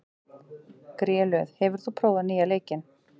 Grélöð, hefur þú prófað nýja leikinn?